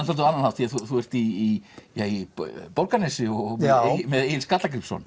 svolítið annan hátt þú ert í í Borgarnesi og með Egil Skallagrímsson